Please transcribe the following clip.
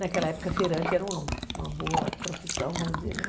Naquela época, feirante era uma boa profissão, vamos dizer, né?